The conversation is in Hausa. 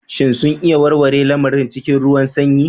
Shin sun iya warware lamarin cikin ruwan sanyi?